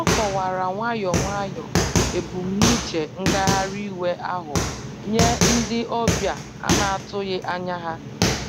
O kọwara nwayọ nwayọ ebumnuche ngagharị iwe ahụ nye ndị ọbịa ana-atụghị anya ha